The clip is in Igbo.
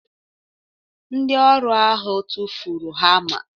Ndị ọrụ ahụ tụfuru hama